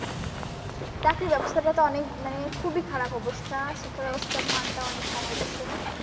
চাকরির ব্যবস্থাটা তো মানে খুবই খারাপ অবস্থা। শিক্ষা ব্যবস্থার মান টা অনেক কমায় দিয়েছে।